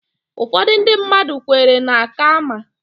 Ụfọdụ ndị mmadụ kweere na Kaama